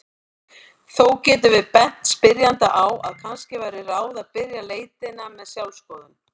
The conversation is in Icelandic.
Þó getum við bent spyrjanda á að kannski væri ráð að byrja leitina með sjálfsskoðun.